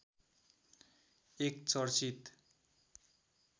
एक चर्चित